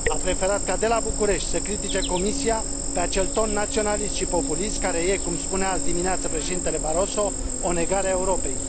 A preferat ca, de la București, să critice Comisia pe acel ton naționalist și populist care este, cum spunea azi dimineață președintele Barroso, o negare a Europei.